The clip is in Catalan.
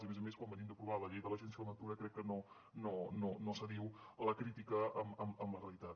i a més a més quan venim d’aprovar la llei de l’agència de la natura crec que no s’adiu la crítica amb la realitat